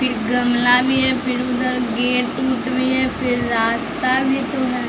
फिर गमला भी है फिर उधर गेट उट भी है फिर रास्ता भी तो है।